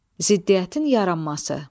Ziddiyyətin yaranması.